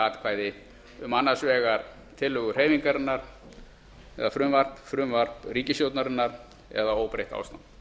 atkvæði um annars vegar frumvarp hreyfingarinnar og hins vegar ríkisstjórnarinnar eða óbreytt ástand